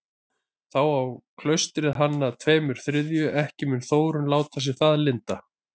Þá á klaustrið hann að tveimur þriðju, ekki mun Þórunn láta sér það lynda.